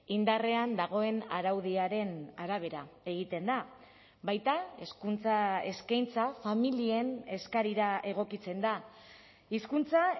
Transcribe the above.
indarrean dagoen araudiaren arabera egiten da baita hezkuntza eskaintza familien eskarira egokitzen da hizkuntza